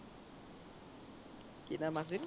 কি নাম আছিল